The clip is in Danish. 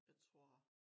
Jeg tror